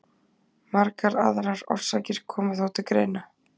Margar aðrar orsakir koma þó til greina.